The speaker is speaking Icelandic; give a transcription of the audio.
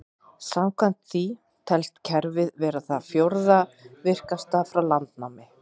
Samkvæmt því telst kerfið vera það fjórða virkasta frá landnámi.